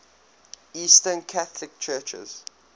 eastern catholic churches